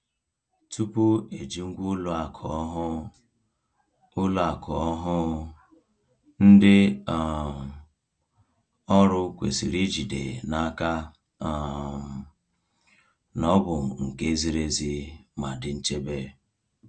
Tupu eji ngwa ụlọ akụ ọhụụ, ụlọ akụ ọhụụ, ndị um ọrụ kwesịrị jide n’aka um na ọ bụ nke ziri ezi ma dị nchebe.